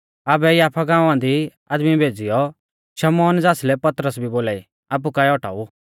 आबै याफा गांवा दी आदमी भेज़ीयौ शमौन ज़ासलै पतरस भी बोलाई आपु काऐ औटाऊ